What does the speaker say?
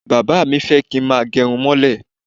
Bàbá mi kì í fẹ́ kí n gẹrun mọ́lẹ̀.